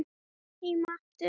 Heim aftur